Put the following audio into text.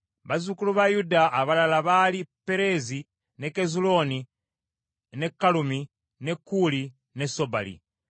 Bazzukulu ba Yuda abalala baali Pereezi, ne Kezulooni, ne Kalumi, ne Kuuli ne Sobali.